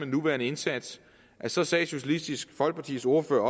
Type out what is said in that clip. nuværende indsats socialistisk folkepartis ordfører